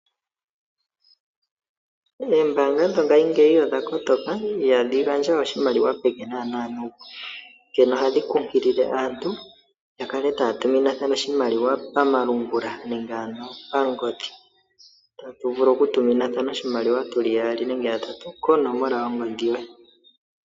Ombaanga dho ngashingeyi odha kotoka ihadhi gandja we oshimaliwa peke nuupu. Onkene ohadhi kunkilile aantu yakale taya tuminathana oshimaliwa pamalungula nenge pangodhi.